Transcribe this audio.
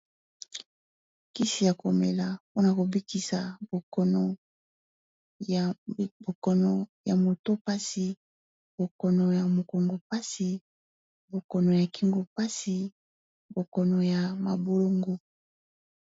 Kisi ya ko mela pona ko bikisa bokono ya moto pasi , bokono ya mokongo pasi, bokono ya kingu pasi bokono ya mabolongo .